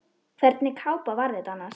Hvernig kápa var þetta annars?